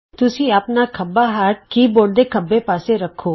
ਤੁਸੀਂ ਆਪਣਾ ਖੱਬਾ ਹੱਥ ਆਪਣੇ ਕੀ ਬੋਰਡ ਦੇ ਖੱਬੇ ਪਾਸੇ ਰੱਖੋ